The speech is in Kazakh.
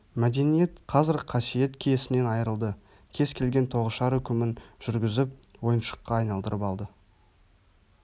мәдениет қазір қасиет-киесінен айрылды кез келген тоғышар үкімін жүргізіп ойыншыққа айналдырып алды